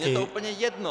Je to úplně jedno.